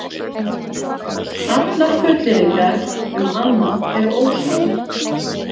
Allar fullyrðingar um annað eru ósannar